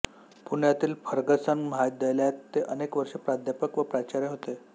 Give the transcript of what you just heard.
पुण्यातील फर्गसन महाविद्यालयात ते अनेक वर्षे प्राध्यपक व प्राचार्य होते